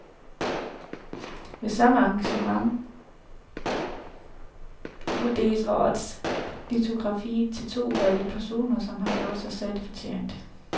Ved samme arrangement uddeles årets litografi til to udvalgte personer, som har gjort sig særlig fortjent.